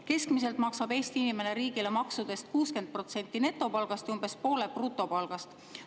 Keskmiselt maksab Eesti inimene riigile maksudeks 60% netopalgast ja umbes poole brutopalgast.